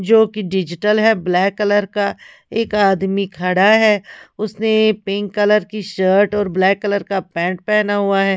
जो की डिजिटल है ब्लैक कलर का एक आदमी खड़ा है उसने पिंक कलर की शर्ट और ब्लैक कलर का पैंट पेहना हुआ है।